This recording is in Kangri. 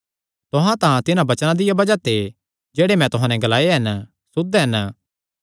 तुहां तां तिन्हां वचनां दिया बज़ाह ते जेह्ड़े मैं तुहां नैं ग्लाये हन सुद्ध हन